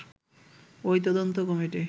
ওই তদন্ত কমিটি